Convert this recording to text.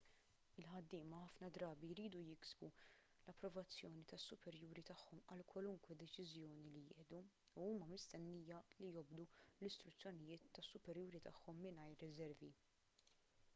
il-ħaddiema ħafna drabi jridu jiksbu l-approvazzjoni tas-superjuri tagħhom għal kwalunkwe deċiżjoni li jieħdu u huma mistennija li jobdu l-istruzzjonijiet tas-superjuri tagħhom mingħajr riservi